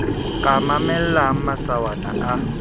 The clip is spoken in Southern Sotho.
ka a mamellang masawana a